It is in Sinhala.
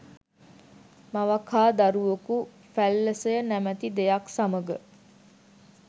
මවක් හා දරුවකු ෆැල්ලසය නමැති දෙයක් සමග